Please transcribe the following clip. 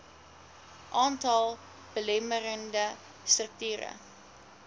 aantal belemmerende strukture